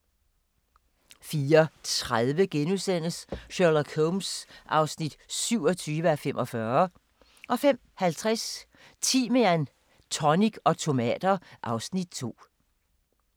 04:30: Sherlock Holmes (27:45)* 05:50: Timian, tonic og tomater (Afs. 2)